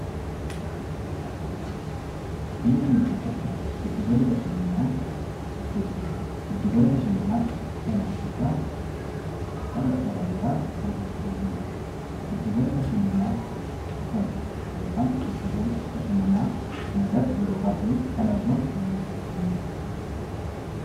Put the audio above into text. Biyya keenya keessatti giddugalli bashannanaa hedduutu jiru. Giddugala bashannanaa sana irraa faayidaa garaagaraa argachuu dandeenya. Giddugala bashannanaa sana yookaan giddugala bashannanaa sana irratti yeroo baay'ee kan argamu namoota akkamii ti?